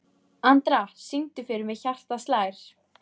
Andra, syngdu fyrir mig „Hjartað slær“.